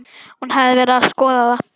Hún hafði verið að skoða það.